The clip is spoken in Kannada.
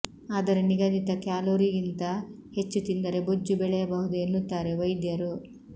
ಆದರೆ ನಿಗದಿತ ಕ್ಯಾಲೋರಿಗಿಂತ ಹೆಚ್ಚು ತಿಂದರೆ ಬೊಜ್ಜು ಬೆಳೆಯಬಹುದು ಎನ್ನುತ್ತಾರೆ ವೈದ್ಯರು